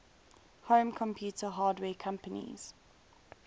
home computer hardware companies